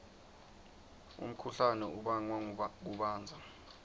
umkhuhlane ubangwa kubandza